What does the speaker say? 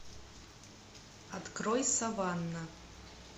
открой саванна